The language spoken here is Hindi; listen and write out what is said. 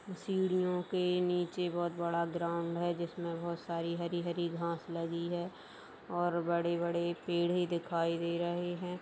सीढ़ियों के नीचे बहुत बड़ा ग्राउन्ड है जिसमें बहुत सारी हरी हरी घास लगी है और बड़े बड़े पेड़ ही दिखाई दे रहे हैं ।